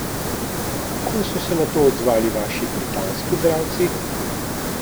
Kako so se na to odzvali vaši britanski bralci?